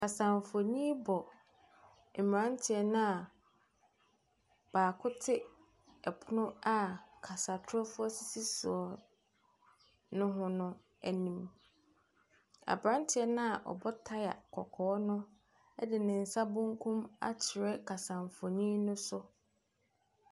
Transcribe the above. Kasanfonni bɔ mmaranteɛ noa baako te ɛpono a kasatorofoɔ sisi soɔ no ho n'anim. Abranteɛ noa ɔbɔ taya kɔkɔɔ no de ne nsa benkum akyerɛ kasanfonni no so.